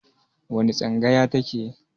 Wani tsangaya ta ke?